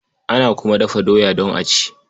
Ana kuma dafa doya don a ci.